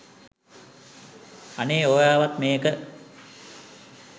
අනේ ඔයාවත් මේක